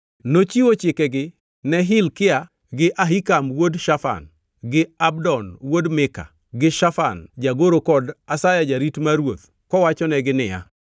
Nochiwo chikegi ne Hilkia gi Ahikam wuod Shafan gi Abdon wuod Mika gi Shafan jagoro kod Asaya jarit mar ruoth kowachonegi niya,